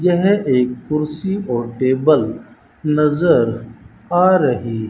यह एक कुर्सी और टेबल नजर आ रही--